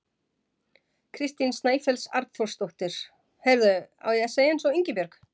Kristín Snæfells Arnþórsdóttir: Heyrðu, á ég að segja eins og Ingibjörg?